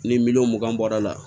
Ni miliyɔn mugan bɔra la